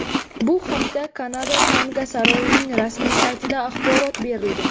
Bu haqda Kanada tanga saroyining rasmiy saytida axborot berilgan .